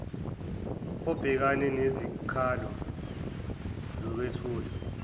obhekana nezikhalo zokwethulwa